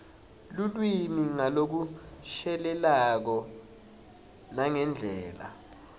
lulwimi ngalokushelelako nangendlela